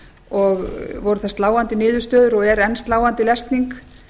og voru það sláandi niðurstöður og er enn sláandi lesning